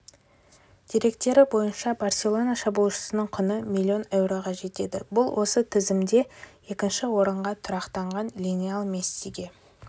деректері бойынша барселона шабуылшысының құны миллион еуроға жетеді бұл осы тізімде екінші орынға тұрақтаған лионель мессиге